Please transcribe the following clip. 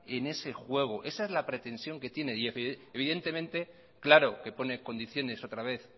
en ees juego esa es la pretensión que tiene y evidentemente claro que pone condiciones otra vez